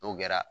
N'o kɛra